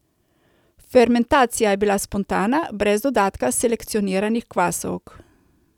Fermentacija je bila spontana, brez dodatka selekcioniranih kvasovk.